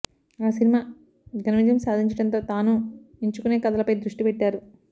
ఆ సినిమా ఘాన విజయం సాధించడంతో తానూ ఎంచుకునే కథలపై దృష్టి పెట్టారు